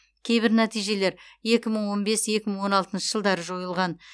кейбір нәтижелер екі мың он бес екі мың он алтыншы жылдары жойылған